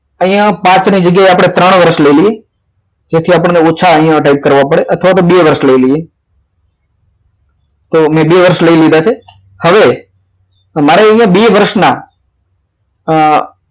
અહીંયા આપણે પાંચ વર્ષની જગ્યા ત્રણ વર્ષ લઈ લઈએ તેથી આપણને અહીંયા ઓછા type કરવા પડે અથવા તો બે વર્ષ લઈ લઈએ તો મેં બે વર્ષ લઈ લીધા છે હવે મારે અહીંયા બે વર્ષના હા